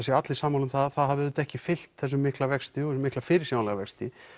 séu allir sammála um að það hafi ekki fylgt þessum mikla vexti og mikla fyrirsjáanlega vexti